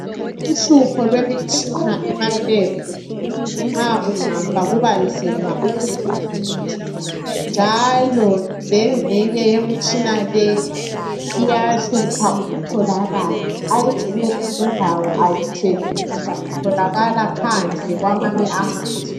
Uhlupho lwemitshina emaLebhu nxa ungafa kubanzima ukuthi ulungiswe njalo lengxenye yemtshina leyi iyahlupha ukutholakala kwezinye indawo ayithengiswa itholakala phandle kwamazwe